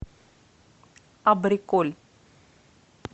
абриколь